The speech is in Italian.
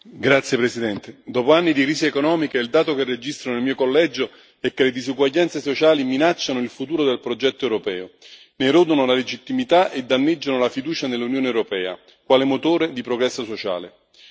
Signora Presidente, onorevoli colleghi, dopo anni di crisi economica, il dato che registro nel mio collegio è che le disuguaglianze sociali, minacciano il futuro del progetto europeo, ne erodono la legittimità e danneggiano la fiducia nell'Unione europea quale motore di progresso sociale.